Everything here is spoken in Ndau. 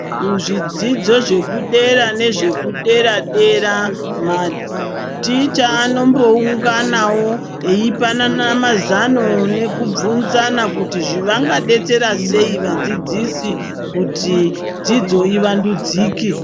Kuzvidzidzo zvekudera nezvekudera-dera. Maticha anombounganavo eipanana mazano nekubvunzana kuti vangabetsera sei vadzidzisi kuti dzidzo ivandudzike.